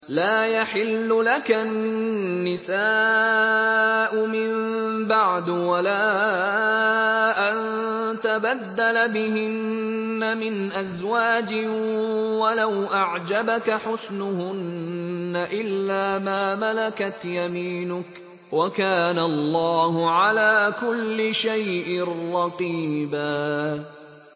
لَّا يَحِلُّ لَكَ النِّسَاءُ مِن بَعْدُ وَلَا أَن تَبَدَّلَ بِهِنَّ مِنْ أَزْوَاجٍ وَلَوْ أَعْجَبَكَ حُسْنُهُنَّ إِلَّا مَا مَلَكَتْ يَمِينُكَ ۗ وَكَانَ اللَّهُ عَلَىٰ كُلِّ شَيْءٍ رَّقِيبًا